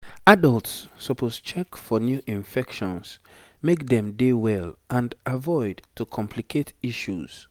adults suppose check for new infections make dem dey well and avoid to complicate issues